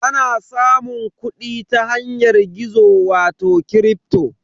Ana samun kuɗi ta yanar gizo wato kripto.